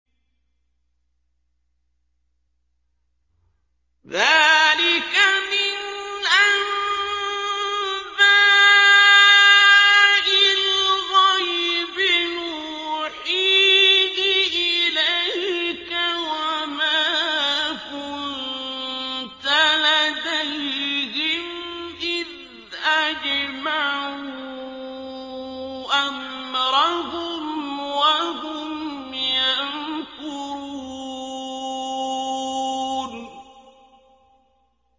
ذَٰلِكَ مِنْ أَنبَاءِ الْغَيْبِ نُوحِيهِ إِلَيْكَ ۖ وَمَا كُنتَ لَدَيْهِمْ إِذْ أَجْمَعُوا أَمْرَهُمْ وَهُمْ يَمْكُرُونَ